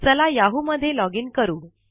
चला याहू मध्ये लोगिन करू